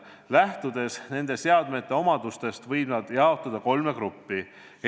Lähtudes nende seadmete omadustest võib nad jaotada kolme gruppi.